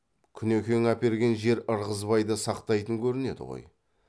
күнекең әперген жер ырғызбайды сақтайтын көрінеді ғой